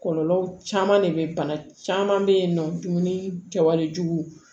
Kɔlɔlɔ caman de bɛ bana caman bɛ yen nɔ dumuni kɛwale